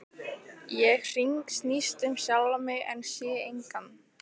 Ég hringsnýst um sjálfa mig en sé engan.